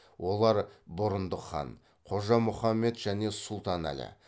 олар бұрындық хан қожа мұхаммед және сұлтан әлі